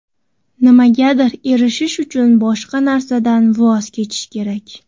Nimagadir erishish uchun, boshqa narsadan voz kechish kerak.